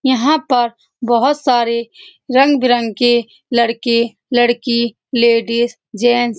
यहाँ पर बहुत सारे रंग-बिरंगे लड़के लड़की लेडीज जेंट्स --